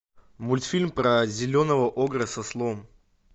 мультфильм про зеленого огра с ослом